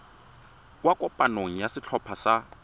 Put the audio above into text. kwa kopanong ya setlhopha sa